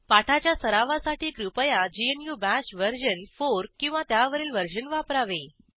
पाठाच्या सरावासाठी कृपया ग्नू बाश वर्जन 4 किंवा त्यावरील वर्जन वापरावे